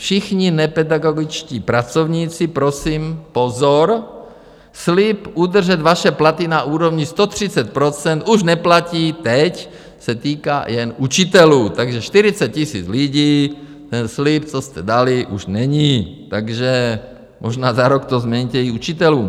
Všichni nepedagogičtí pracovníci, prosím pozor, slib udržet vaše platy na úrovni 130 % už neplatí, teď se týká jen učitelů, takže 40 000 lidí, ten slib, co jste dali, už není, takže možná za rok to změníte i učitelům.